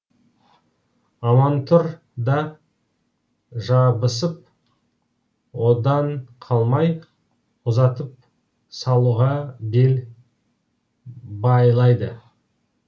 амантұр да жабысып одан қалмай ұзатып салуға бел байлайды